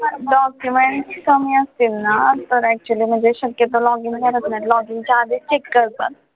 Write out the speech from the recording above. documents कमी असतील ना तर actually म्हणजे शक्यतो login करत नाही login च्या आधीच check करतात.